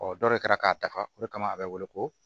Ɔ dɔ de kɛra k'a dafa o de kama a bɛ wele ko